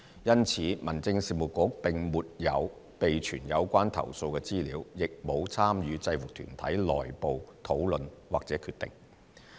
因此，民政事務局並沒有備存有關投訴的資料，亦沒有參與制服團體內部討論或決定。